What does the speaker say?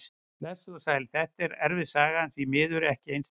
Blessuð og sæl, þetta er erfið saga en því miður ekkert einsdæmi.